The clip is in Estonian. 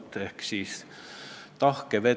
Meie ühiskond oli siis võib-olla liberaalsem kui praegu.